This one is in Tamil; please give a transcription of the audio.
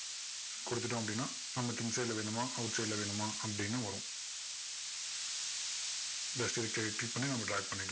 கொடுத்துட்டோம் அப்படின்னா நமக்கு inside ல வேணுமா outside ல வேணுமா அப்படின்னு வரும் just இதை click பண்ணி நம்ம drag பண்ணிக்கலாம்